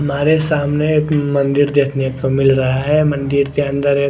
मारे सामने एक मंदिर देखने को मिल रहा है मंदिर के अंदर एक--